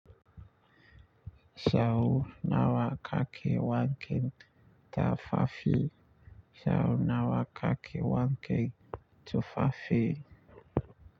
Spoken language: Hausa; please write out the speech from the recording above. Yau nawa ka ke wanken tafafi? Yau nawa ka ke wanke tufafi?